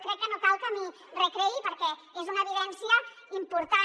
crec que no cal que m’hi recreï perquè és una evidència important